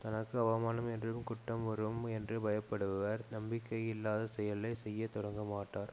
தனக்கு அவமானம் என்னும் குற்றம் வரும் என்று பய படுபவர் நம்பிக்கை இல்லாத செயலை செய்ய தொடங்கமாட்டார்